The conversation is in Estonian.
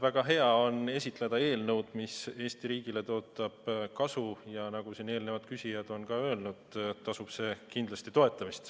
Väga hea on esitleda eelnõu, mis tõotab Eesti riigile kasu, ja nagu siin eelnevad küsijad on öelnud, tasub seda kindlasti toetada.